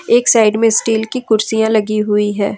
एक साइड में स्टील की कुर्सियां लगी हुई है।